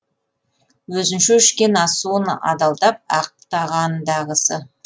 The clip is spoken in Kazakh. өзінше ішкен ас суын адалдап ақтағандағысы